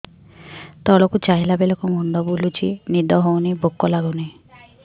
ତଳକୁ ଚାହିଁଲା ବେଳକୁ ମୁଣ୍ଡ ବୁଲୁଚି ନିଦ ହଉନି ଭୁକ ଲାଗୁନି